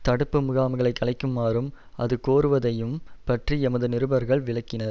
தடுப்பு முகாம்களை கலைக்குமாறும் அது கோருவதையும் பற்றி எமது நிருபர்கள் விளக்கினர்